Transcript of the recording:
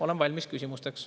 Olen valmis küsimusteks.